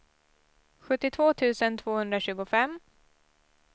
sjuttiotvå tusen tvåhundratjugofem